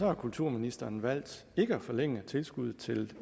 har kulturministeren valgt ikke at forlænge tilskuddet til